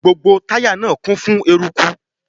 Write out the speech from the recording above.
Gbogbo táyà náà kún fún eruku.